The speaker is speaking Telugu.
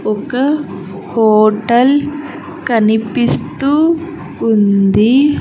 ఒక హోటల్ కనిపిస్తూ ఉంది.